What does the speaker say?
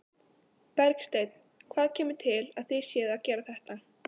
Bergsteinn, hvað kemur til að þið séuð að gera þetta?